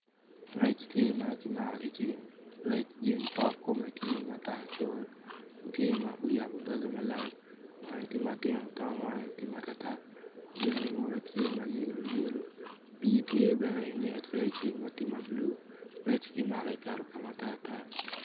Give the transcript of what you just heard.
Rec tye ma kimago gi rec gin kome tye ma tar wange tye matino pii tye bene i get recci. Rec ki mako kiketo ka ma tatar.